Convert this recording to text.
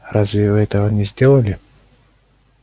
разве вы этого не сделали